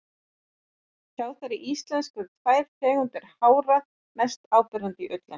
Hjá þeirri íslensku eru tvær tegundir hára mest áberandi í ullinni.